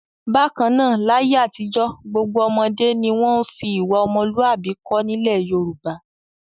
Bákan náà, láyé àtijọ́ gbogbo ọmọdé ni wọ́n fi ìwà ọmọlúàbí kọ́ nílẹ̀ Yorùbá.